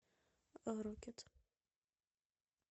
рокет